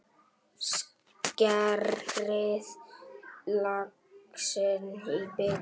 Skerið laxinn í bita.